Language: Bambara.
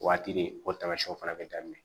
O waati de o tamasiyɛnw fana bɛ daminɛ